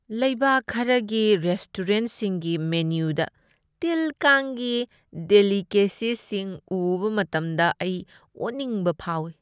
ꯂꯩꯕꯥꯛ ꯈꯔꯒꯤ ꯔꯦꯁꯇꯣꯔꯦꯟꯠꯁꯤꯡꯒꯤ ꯃꯦꯅ꯭ꯌꯨꯗ ꯇꯤꯜ ꯀꯥꯡꯒꯤ ꯗꯦꯁꯤꯀꯦꯁꯤꯁꯤꯡ ꯎꯕ ꯃꯇꯝꯗ, ꯑꯩ ꯑꯣꯅꯤꯡꯕ ꯐꯥꯎꯏ꯫